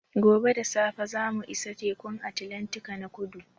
Gobe da safe za mu isa Tekun Atlantika na kudu